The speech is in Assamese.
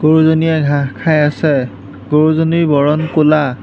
গৰুজনীয়ে ঘাঁহ খাই আছে গৰুজনীৰ বৰণ ক'লা।